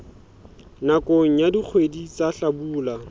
nakong ya dikgwedi tsa hlabula